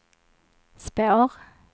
spår